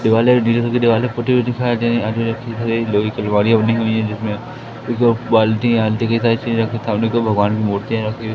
दीवालें नीले रंग की दीवालें पुती हुई दिखाई दे रही लोहे की अलमारियां बनी हुई हैं जिसमें दो बाल्टी के साइज की रखी सामने दो भगवान की मूर्तियां रखी हुई--